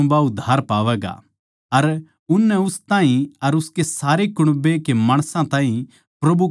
अर उननै उस ताहीं अर उसके सारे घर के माणसां ताहीं प्रभु का वचन सुणाया